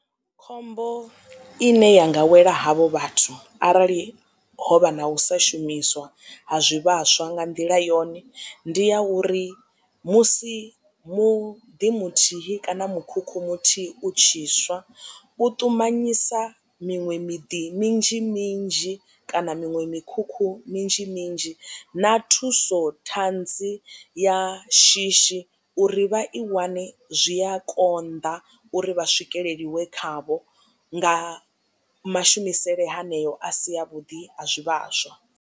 Khombo ine ya nga wela havho vhathu arali hovha na u sa shumiswa ha zwivhaswa nga nḓila yone ndi ya uri musi muḓi muthihi kana mukhukhu muthihi u tshi swa u ṱumanyisa miṅwe miḓi minzhi minzhi kana miṅwe mikhukhu minzhi minzhi na thuso ṱhanzi ya shishi uri vha i wane zwi a konḓa uri vha swikelelwe khavho nga mashumisele haneo a si a vhuḓi a zwi vhaswa.